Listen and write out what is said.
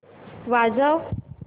वाजव